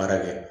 Baara kɛ